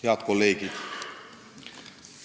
Head kolleegid!